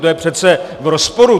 To je přece v rozporu.